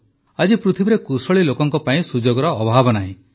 ଆଜି ପୃଥିବୀରେ କୁଶଳୀ ଲୋକଙ୍କ ପାଇଁ ସୁଯୋଗର ଅଭାବ ନାହିଁ